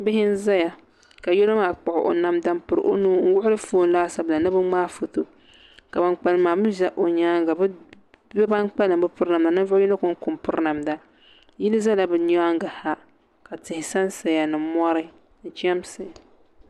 Bihi n ʒɛya ka yino maa kpuɣu o namda n niŋ o nuuni ka bi gbubi foon laasabu la ni bi ŋmaai foto ka ban kpalim mii ʒɛ o nyaanga bi ban kpalim bi piri namda ninvuɣu yino konko n piri namda yili ʒɛla bi nyaanŋa ha ka tihi sansaya ni mori ni chɛmsi